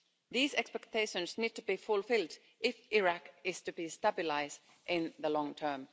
These expectations need to be fulfilled if Iraq is to be stabilised in the long term.